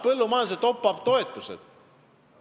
Võtame needsamad top-up'id, toetused põllumajanduses.